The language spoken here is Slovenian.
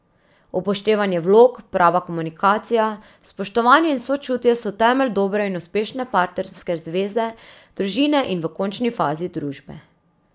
Upoštevanje vlog, prava komunikacija, spoštovanje in sočutje so temelj dobre in uspešne partnerske zveze, družine in v končni fazi družbe.